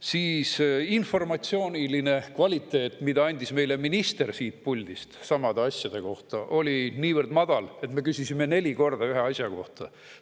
Siis, informatsiooniline kvaliteet, mida andis meile minister siit puldist samade asjade kohta, oli niivõrd madal, et me küsisime neli korda ühe asja kohta.